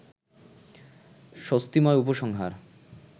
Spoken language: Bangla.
স্বস্তিময় উপসংহার